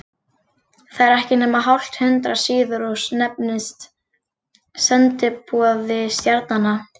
Það er ekki nema hálft hundrað síður og nefnist Sendiboði stjarnanna.